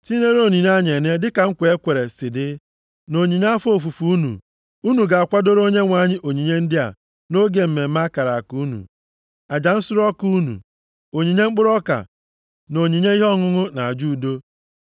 “ ‘Tinyere onyinye a na-enye dịka nkwa e kwere si dị, na onyinye afọ ofufu unu, unu ga-akwadoro Onyenwe anyị onyinye ndị a nʼoge mmemme a kara aka unu: aja nsure ọkụ unu, onyinye mkpụrụ ọka na onyinye ihe ọṅụṅụ na aja udo.’ ”